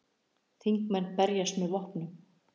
Þingmenn verjast með vopnum